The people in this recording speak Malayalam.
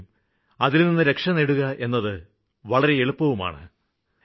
എങ്കിലും അതില്നിന്ന് രക്ഷ നേടുകയെന്നത് വളരെ എളുപ്പവുമാണ്